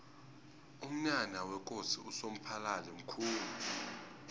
umnyanya wekosi usomphalili mkhulu